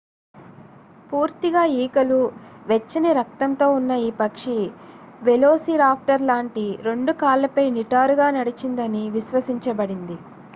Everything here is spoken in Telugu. పూర్తిగా ఈకలు వెచ్చని రక్తంతో ఉన్న ఈ పక్షి వెలోసిరాప్టర్ లాంటి రెండు కాళ్లపై నిటారుగా నడిచిందని విశ్వసించబడింది